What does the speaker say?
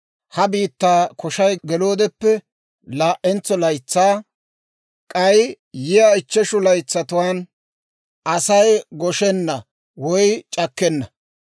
Ha biittaa koshay geloodeppe laa"entso laytsaa; k'ay yiyaa ichcheshu laytsatuwaan Asay goshenna woy c'akkenna.